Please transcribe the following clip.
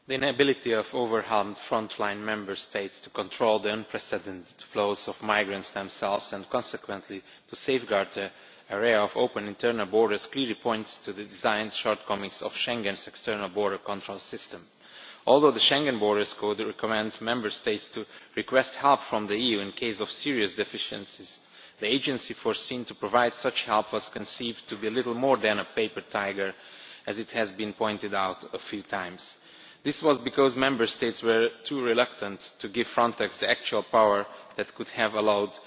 Madam President, the inability of overwhelmed frontline Member States to control the unprecedented flows of migrants themselves and consequently to safeguard the array of open internal borders clearly points to the design shortcomings of Schengen's external border control system. Although the Schengen Borders Code recommends Member States to request help from the EU in case of serious deficiencies, the agency foreseen to provide such help was conceived to be a little more than a paper tiger, as has been pointed out a few times. This was because Member States were too reluctant to give Frontex the actual power that could have allowed